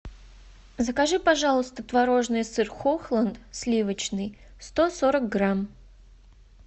закажи пожалуйста творожный сыр хохланд сливочный сто сорок грамм